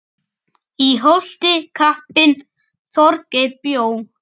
Í Holti kappinn Þorgeir bjó.